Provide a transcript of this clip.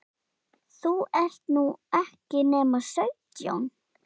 þú ert nú ekki nema sautján.